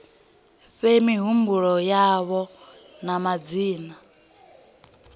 fhe mihumbulo yavho na madzina